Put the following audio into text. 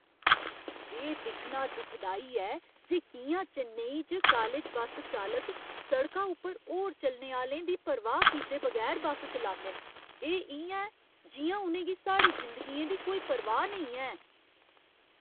एह् दिक्खना दुखदाई ऐ जे कि'यां चेन्नई च कालज बस्स चालक सड़का उप्पर होर चलने आह्‌लें दी परवाह् कीते बगैर बस चलांदे न। एह् इ'यां ऐ जि'यां उ'नें गी साढ़ी जिंदगियें दी कोई परवाह् नेईं ऐ।